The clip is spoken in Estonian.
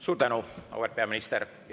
Suur tänu, auväärt peaminister!